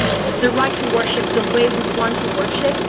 the right to worship the way we want to worship